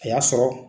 A y'a sɔrɔ